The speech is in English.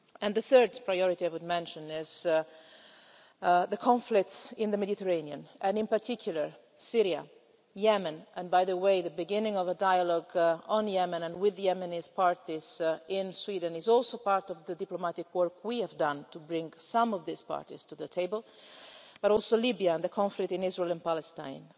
The third priority I would mention is the conflicts in the Mediterranean and, in particular, Syria, Yemen the beginning of a dialogue on Yemen and with the Yemeni parties in Sweden is also part of the diplomatic work we have done to bring some of these parties to the table but also Libya and the conflict in Israel and Palestine.